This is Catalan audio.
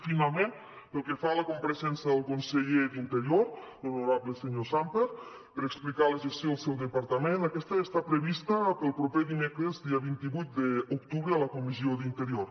finalment pel que fa a la compareixença del conseller d’interior l’honorable senyor sàmper per explicar la gestió del seu departament aquesta ja està prevista per al proper dimecres dia vint vuit d’octubre a la comissió d’interior